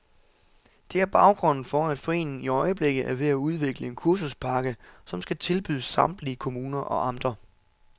Det er baggrunden for, at foreningen i øjeblikket er ved at udvikle en kursuspakke, som skal tilbydes samtlige kommuner og amter.